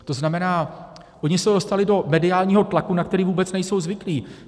To znamená, oni se dostali do mediálního tlaku, na který vůbec nejsou zvyklí.